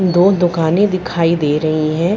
दो दुकानें दिखाई दे रही हैं।